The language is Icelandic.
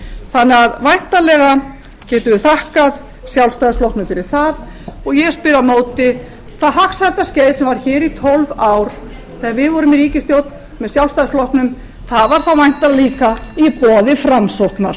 þannig að væntanlega getum við þakkað sjálfstæðisflokknum fyrir það og ég spyr á móti það hagsældarskeið sem var hér í tólf ár þegar við vorum í ríkisstjórn með sjálfstæðisflokknum það var þá væntanlega líka í boði framsóknar góðar stundir